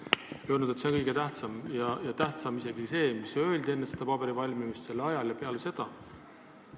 Te olete öelnud, et see on kõige tähtsam, tähtsam isegi kui see, mis on öeldud enne selle dokumendi valmimist, selle koostmise ajal ja peale seda.